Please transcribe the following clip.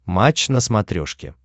матч на смотрешке